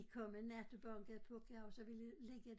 De kom en nat og bankede på kan jeg huske og ville ligge